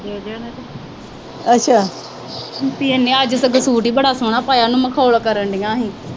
ਨੇ ਅੱਜ ਸੂਟ ਬੜਾ ਸੋਹਣਾ ਪਾਇਆ ਸੀ, ਉਹਨੂੰ ਮਖੌਲ ਕਰਨ ਦਿਆਂ ਸੀ।